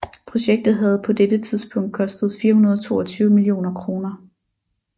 Projektet havde på dette tidspunkt kostet 422 millioner kroner